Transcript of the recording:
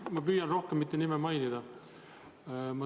Ma püüan nime rohkem mitte mainida.